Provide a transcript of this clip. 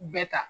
Bɛɛ ta